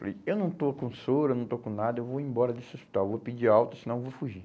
Falei, eu não estou com soro, eu não estou com nada, eu vou embora desse hospital, vou pedir alta, senão eu vou fugir.